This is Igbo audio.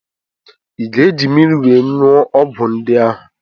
Ị ga-eji mmiri wee nwụọ ọgwụ ndị ahụ?